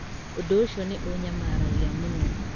Ũndũ ũcio nĩ ũnyamaragia mũno.